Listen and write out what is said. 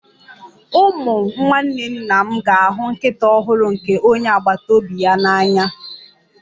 Ụmụ nwanne nna m ga-ahụ nkịta ọhụrụ nke onye agbata obi ya n'anya